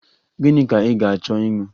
Gịnị ka ị ga-achọ ịṅụ?